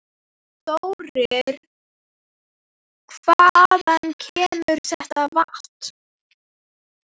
Þórir: Hvaðan kemur þetta vatn?